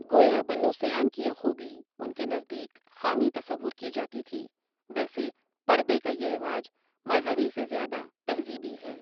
گویا بنوسیان کی یہ خوبی ان کے نزدیک خامی تصور کی جاتی تھی ویسے پردے کا یہ رواج مذہبی سے زیادہ تہذیبی ہے۔